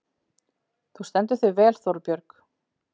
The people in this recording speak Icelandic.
Þú stendur þig vel, Þórbjörg!